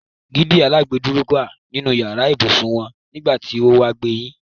Dígí alágbèdúúró wà nínú yàrá ibùsùn wọn nígbà tí wo wá gbẹ̀yìn.